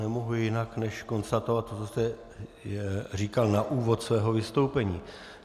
Nemohu jinak než konstatovat to, co jste říkal na úvod svého vystoupení.